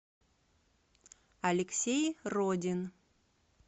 алексей родин